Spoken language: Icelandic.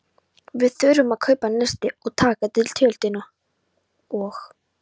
Við þurfum að kaupa nesti og taka til tjöldin og.